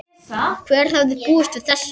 Hver hefði búist við þessu?